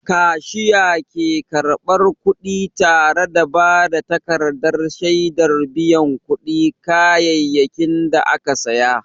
Kashiya ke karɓar kuɗi tare da ba da takardar shaidar biyan kuɗin kayayyakin da aka saya.